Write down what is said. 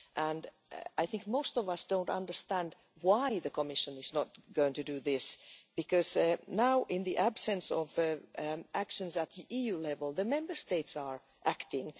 And I think most of us don't understand why the Commission is not going to do this, because now, in the absence of actions at EU level, the Member States are acting.